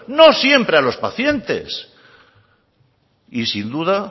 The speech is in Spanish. no siempre a los pacientes y sin duda